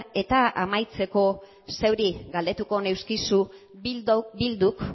eta amaitzeko zeuri galdetuko nizuke bilduk